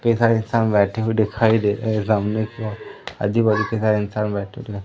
ढेर सारे इंसान बैठे हुए दिखाई दे रहे है सामने की ओर आजू बाजू के हर इंसान बैठे तो है।